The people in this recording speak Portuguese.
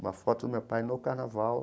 Uma foto do meu pai no carnaval.